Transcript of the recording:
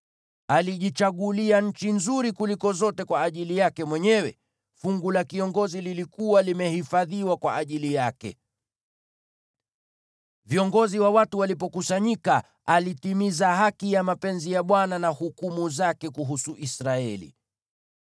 Alijichagulia nchi nzuri kuliko zote kwa ajili yake mwenyewe; fungu la kiongozi lilikuwa limehifadhiwa kwa ajili yake. Viongozi wa watu walipokusanyika, alitimiza haki ya mapenzi ya Bwana , na hukumu zake kuhusu Israeli.”